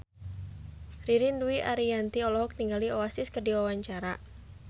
Ririn Dwi Ariyanti olohok ningali Oasis keur diwawancara